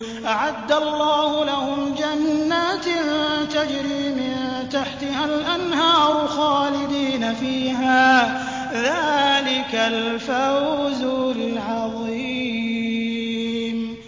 أَعَدَّ اللَّهُ لَهُمْ جَنَّاتٍ تَجْرِي مِن تَحْتِهَا الْأَنْهَارُ خَالِدِينَ فِيهَا ۚ ذَٰلِكَ الْفَوْزُ الْعَظِيمُ